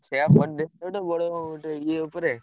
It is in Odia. ସେୟା କରିଦେଇକି ଗୋଟେ ବଡ ଗୋଟେ ଇଏ ଉପରେ,